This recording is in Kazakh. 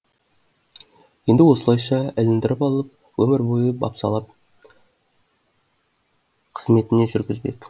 енді осылайша іліндіріп алып өмір бойы бопсалап қызметіне жүргізбек